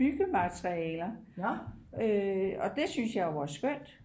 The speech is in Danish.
byggematerialer og det synes jeg jo er skønt